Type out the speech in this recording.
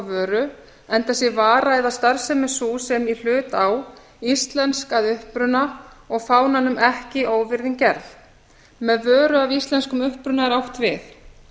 vöru enda sé vara eða starfsemi sú sem í hlut á íslensk að uppruna og fánanum ekki óvirðing gerð með vöru af íslenskum uppruna er átt við